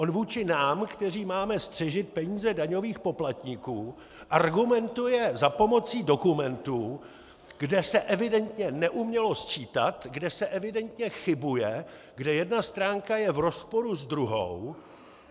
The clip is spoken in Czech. On vůči nám, kteří máme střežit peníze daňových poplatníků, argumentuje za pomoci dokumentu, kde se evidentně neumělo sčítat, kde se evidentně chybuje, kde jedna stránka je v rozporu s druhou.